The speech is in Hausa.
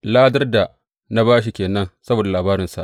Ladar da na ba shi ke nan saboda labarinsa!